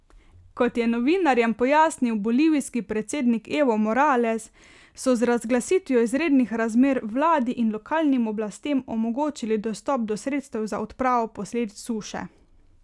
Kot je novinarjem pojasnil bolivijski predsednik Evo Morales, so z razglasitvijo izrednih razmer vladi in lokalnim oblastem omogočili dostop do sredstev za odpravo posledic suše.